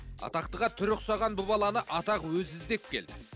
атақтыға түрі ұқсаған бұл баланы атақ өзі іздеп келді